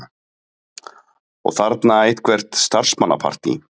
Og þarna eitthvert starfsmannapartí.